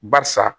Barisa